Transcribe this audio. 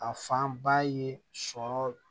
A fanba ye sɔrɔ